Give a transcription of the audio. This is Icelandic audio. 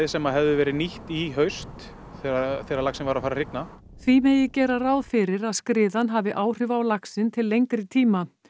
sem hefðu verið nýtt í haust þegar þegar laxinn var að fara að hrygna því megi gera ráð fyrir að skriðan hafi áhrif á laxinn til lengri tíma